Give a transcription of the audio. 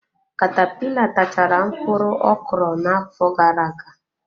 Katapila tachaara mkpụrụ ọ kụrụ n'afọ gara-aga.